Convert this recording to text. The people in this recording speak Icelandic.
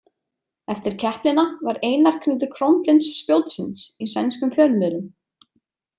Eftir keppnina var Einar krýndur krónprins spjótsins í sænskum fjölmiðlum.